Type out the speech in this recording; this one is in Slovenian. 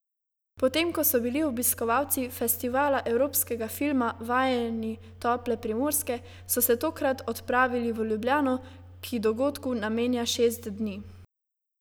Potem ko so bili obiskovalci Festivala evropskega filma vajeni tople Primorske, so se tokrat odpravili v Ljubljano, ki dogodku namenja šest dni.